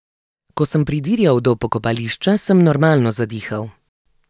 Ko sem pridirjal do pokopališča, sem normalno zadihal.